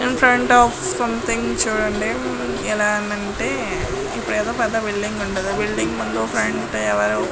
in front of something చూడండి ఎలా ఉందంటే ఇక్కడ ఏదో పెద్ద బిల్డింగ్ ఉంది ఆ బిల్డింగ్ --